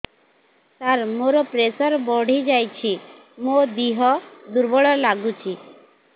ସାର ମୋର ପ୍ରେସର ବଢ଼ିଯାଇଛି ମୋ ଦିହ ଦୁର୍ବଳ ଲାଗୁଚି